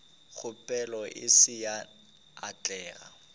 kgopelo e se ya atlega